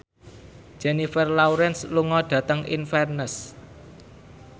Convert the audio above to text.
Jennifer Lawrence lunga dhateng Inverness